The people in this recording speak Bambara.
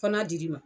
Fana dir'i ma